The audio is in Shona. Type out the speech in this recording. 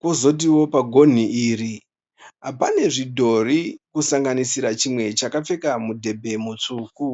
pozotiwo pagonhi iri pane zvidhori kusanganisira chimwe chakapfeka mudhebhe mutsvuku.